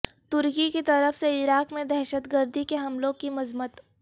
ترکی کی طرف سے عراق میں دہشت گردی کے حملوں کی مذمت